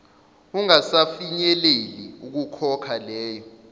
ungasafinyeleli ukukhokha lelo